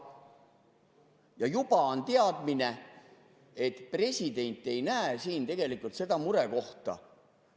Ja juba on teadmine, et president ei näe siin seda murekohta.